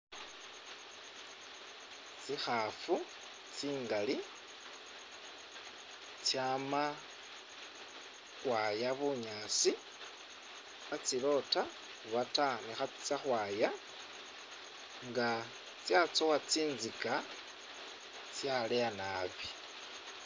Tsikhafu tsingali, tsama khu khwaya bunyaasi kha tsilota oba ta ne khatsitsa khu khwaya nga tsatsowa tsinzika tsaleya naabi.